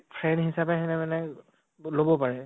friend হিচাপে হিহঁতে মানে ব লʼব পাৰে